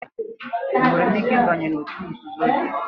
Enwere m ike ịbanye n'òtù nzuzo gị?